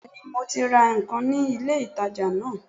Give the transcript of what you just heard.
Béèni mo ti ra nkan ní ilé ìtajà náà